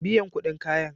Biyan kuɗin kayan.